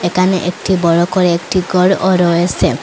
একানে একটি বড় করে একটি গরও রয়েসে।